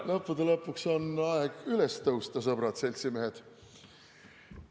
Lõppude lõpuks on aeg üles tõusta, sõbrad-seltsimehed!